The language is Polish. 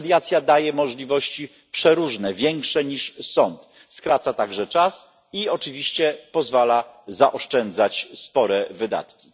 Mediacja daje możliwości przeróżne, większe niż sąd, skraca także czas postępowania i oczywiście pozwala zaoszczędzać spore wydatki.